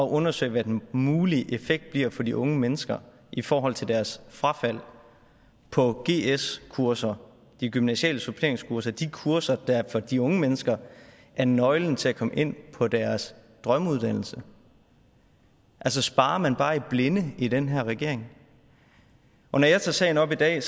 undersøge hvad den mulige effekt bliver for de unge mennesker i forhold til deres frafald på gs kurser de gymnasiale suppleringskurser de kurser der for de unge mennesker er nøglen til at komme ind på deres drømmeuddannelse altså sparer man bare i blinde i den her regering når jeg tager sagen op i dag